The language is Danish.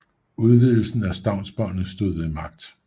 Udvidelsen af stavnsbåndet stod ved magt